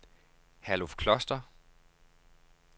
Herluf Kloster